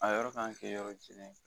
A yɔrɔ k'an kɛ yɔrɔ jɛlen ye.